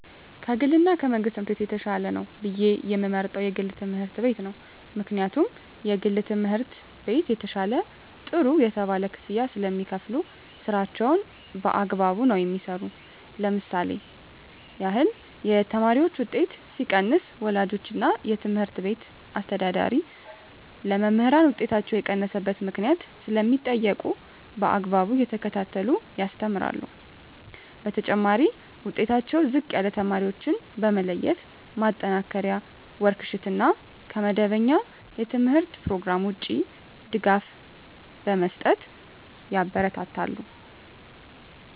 ከ ግል እና የመንግሥት ትምህርት ቤት የተሻለ ነው ብየ የምመርጠው የግል ትምህርት ቤት ነው ምክንያቱም የግል ትምህርት ቤት የተሻለ ጥሩ የተባለ ክፍያ ስለሚካፈሉ ስራቸውን በአግባቡ ነው የሚሠሩ ለምሳሌ ያክል የተማሪዎች ውጤት ሲቀንስ ወላጆች እና የትምህርት ቤቱ አስተዳዳሪ ለመምህራን ውጤታቸው የቀነሰበት ምክንያት ስለሚጠይቁ በአግባቡ እየተከታተሉ ያስተምራሉ በተጨማሪ ዉጤታቸው ዝቅ ያለ ተማሪዎችን በመለየት ማጠናከሪያ ወርክ ሽት እና ከመደበኛ የተምህርት ኘሮግራም ውጭ ድጋፍ በመስጠት ያበረታታሉ።